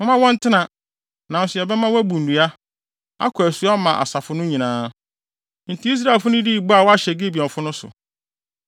Momma wɔntena. Nanso, yɛbɛma wɔabu nnua, akɔ asu ama asafo no nyinaa.” Enti Israelfo no dii bɔ a wɔahyɛ Gibeonfo no so.